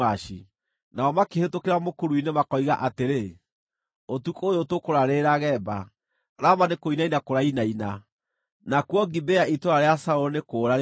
Nao makĩhĩtũkĩra mũkuru-inĩ, makoiga atĩrĩ, “Ũtukũ ũyũ tũkũraarĩrĩra Geba.” Rama nĩkũinaina kũrainaina; nakuo Gibea itũũra rĩa Saũlũ nĩ kũũra rĩroora.